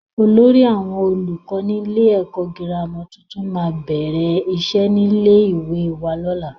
Olórí àwọn olùkọ́ nílé ẹ̀kọ́ gírámà tuntun máa bẹ̀rẹ̀ iṣẹ́ nílé ìwé wa lọ́la.